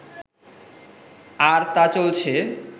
আর তা চলছে